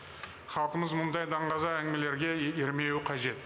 халқымыз мұндай даңғаза әңгімелерге ермеуі қажет